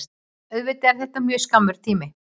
Auðvitað er það mjög skammur tími